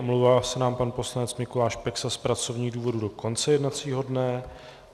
Omlouvá se nám pan poslanec Mikuláš Peksa z pracovních důvodů do konce jednacího dne.